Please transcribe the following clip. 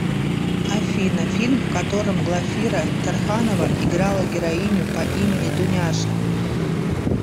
афина фильм в котором глафира тарханова играла героиню по имени дуняша